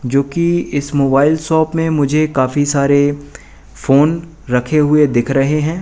जो कि इस मोबाइल शॉप में मुझे काफी सारे फोन रखे हुए दिख रहे हैं।